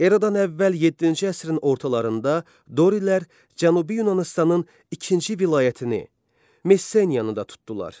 Eradan əvvəl yeddinci əsrin ortalarında dorilər Cənubi Yunanıstanın ikinci vilayətini, Messeniyanı da tutdular.